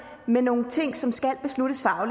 med nogle ting som skal